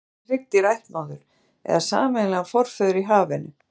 Í raun eiga öll hryggdýr ættmóður eða sameiginlegan forföður í hafinu.